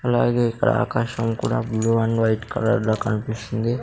అలాగే ఇక్కడ ఆకాశం కూడా బ్లూ అండ్ వైట్ కలర్ లో కనిపిస్తుంది.